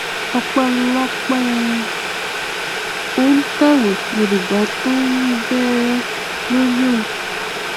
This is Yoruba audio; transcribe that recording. ọpẹlọpẹ um ońtẹwé yorùbá tó tún ń bẹ lórí ẹ òun